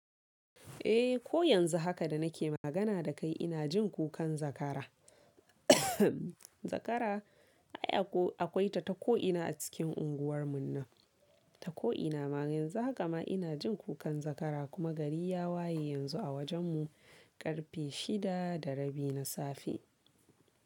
Eh ko yanzu haka da nake magana da kai ina jin kukan zakara. Zakara akwai ta ta ko'ina a cikin unguwar mu nan, ta ko'ina ma yanzu haka ma ina jin kukan zakara kuma gari ya waye yanzu a wajen mu karfe shida da rabi na safe.